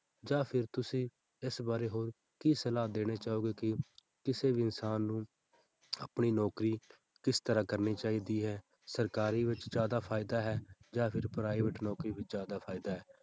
ਜਾਂ ਫਿਰ ਤੁਸੀਂ ਇਸ ਬਾਰੇ ਹੋਰ ਕੀ ਸਲਾਹ ਦੇਣੀ ਚਾਹੋਗੇ ਕਿ ਕਿਸੇ ਵੀ ਇਨਸਾਨ ਨੂੰ ਆਪਣੀ ਨੌਕਰੀ ਕਿਸ ਤਰ੍ਹਾਂ ਕਰਨੀ ਚਾਹੀਦੀ ਹੈ, ਸਰਕਾਰੀ ਵਿੱਚ ਜ਼ਿਆਦਾ ਫ਼ਾਇਦਾ ਹੈ ਜਾਂ ਫਿਰ private ਨੌਕਰੀ ਵਿੱਚ ਜ਼ਿਆਦਾ ਫ਼ਾਇਦਾ ਹੈ।